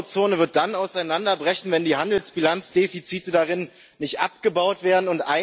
Die Euro Zone wird dann auseinanderbrechen, wenn die Handelsbilanzdefizite darin nicht abgebaut werden.